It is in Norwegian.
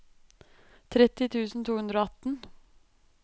tretti tusen to hundre og atten